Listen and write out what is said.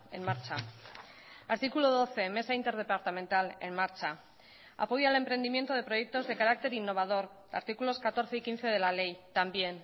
en marcha artículo doce mesa interdepartamental en marcha apoyo al emprendimiento de proyectos de carácter innovador artículos catorce y quince de la ley también